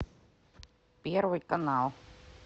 первый канал